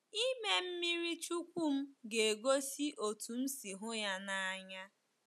Ịme mmiri chukwu m ga-egosi otú m si hụ ya n’anya.